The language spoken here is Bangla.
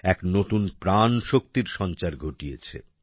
এক নতুন প্রাণশক্তির সঞ্চার ঘটিয়েছে